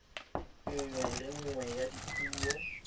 nngwe le nngwe ya dipuo